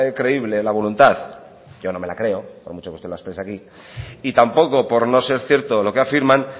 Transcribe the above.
creíble la voluntad yo no me la creo por mucho que usted la expresa aquí y tampoco por no ser cierto lo que afirman